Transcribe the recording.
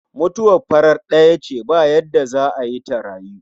mutuwar farat ɗaya ce ba yarda za'a yi ta rayu